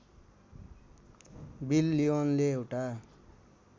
bill लिओनले एउटा